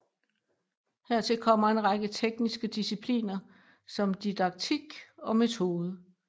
Hertil kommer en række tekniske discipliner som didaktik og metode